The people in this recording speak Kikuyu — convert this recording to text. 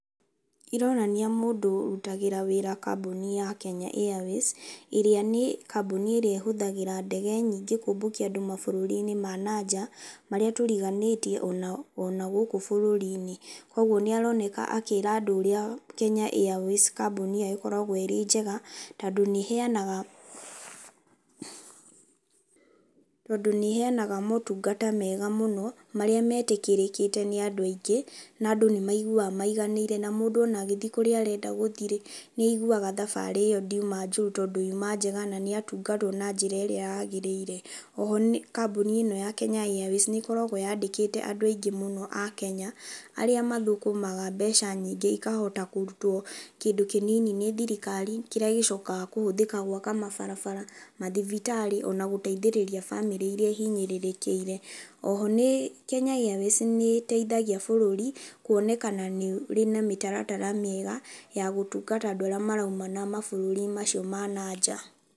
Ironania mũndũ ũrutagĩra wĩra kambuni ya Kenya Airways ĩrĩa nĩ kambuni ĩrĩa ĩhũthagĩra ndege nyingĩ kũmbũkia andũ mabũrũri-inĩ ma nanja marĩa tũriganĩtie ona, ona gũkũ bũrũri-inĩ. Kũguo nĩaroneka akĩra andũ ũrĩa Kenya Airways kambuni yao ĩkoragwo ĩrĩ njega, tondũ nĩheanga tondũ nĩheanaga motungata mega mũno marĩa metĩkĩrĩte nĩ andũ aingĩ na andũ nĩmaiguaga maiganĩire na mũndũ ona agĩthiĩ kũrĩa arenda gũthiĩ-rĩ nĩaiguaga thabarĩ ĩyo ndiuma njũru tondũ yuma njega na nĩatungatwo na njĩra ĩrĩa yagĩrĩire. Oho kambuni ĩno ya Kenya Airways nĩkoragwo yandĩkĩte andũ aingĩ mũno a a Kenya arĩa mathũkũmaga mbeca nyingĩ ikahota kũrutwo kĩndũ kĩnini nĩ thirikari kĩrĩa gĩcokaga kũhũthĩka gũaka mabarabara, mathibitarĩ ona gũteithĩrĩria bamĩrĩ iria ihinyĩrĩrĩkĩire. Oho nĩ Kenya Airways nĩteithagia bũrũri kuonekana nĩũrĩ na mĩtaratara mĩega ya gũtungata andĩ arĩa marauma na mabũrũri-inĩ macio ma nanja.